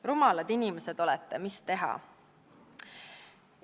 Rumalad inimesed, mis teha!